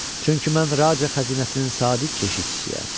Çünki mən raja xəzinəsinin sadiq keşişçisiyəm.